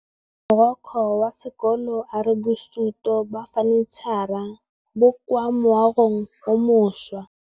Mogokgo wa sekolo a re bosutô ba fanitšhara bo kwa moagong o mošwa.